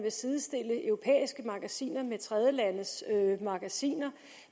vil sidestille europæiske magasiner med tredjelandes magasiner